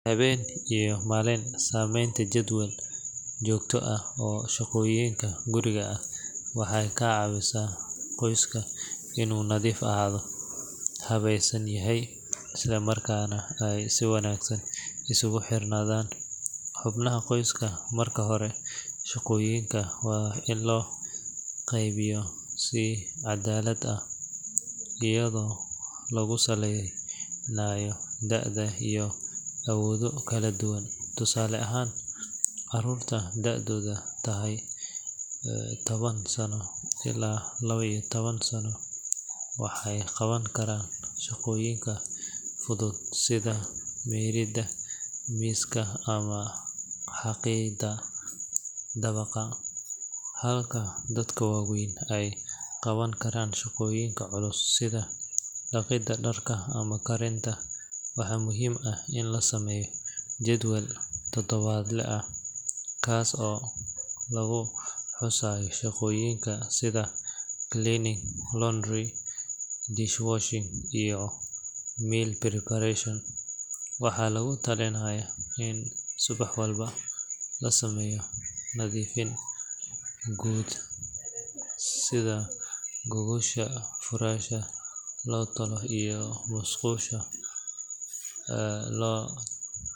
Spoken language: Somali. Habeen iyo maalin, samaynta jadwal joogto ah oo shaqooyinka guriga ah waxay ka caawisaa qoyska inuu nadiif ahaado, habaysan yahay, isla markaana ay si wanaagsan isugu xirnaadaan xubnaha qoyska. Marka hore, shaqooyinka waa in loo qaybiyo si caddaalad ah, iyadoo lagu saleynayo da’da iyo awoodo kala duwan. Tusaale ahaan, carruurta da’doodu tahay toban sano ilaa laba iyo toban sano waxay qaban karaan shaqooyinka fudud sida mayrida miiska ama xaaqidda dabaqa, halka dadka waaweyn ay qaban karaan shaqooyinka culus sida dhaqidda dharka ama karinta. Waxaa muhiim ah in la sameeyo jadwal todobaadle ah, kaas oo lagu xusayo shaqooyinka sida cleaning, laundry, dishwashing, iyo meal preparation. Waxaa lagu talinayaa in subax walba la sameeyo nadiifin guud sida gogosha furaasha la tolo iyo musqusha oo lo.